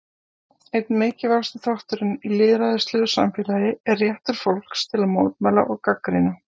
Einn mikilvægasti þátturinn í lýðræðislegu samfélagi er réttur fólks til að mótmæla og gagnrýna.